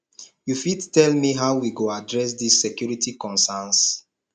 you fit tell me how we go address di security conerns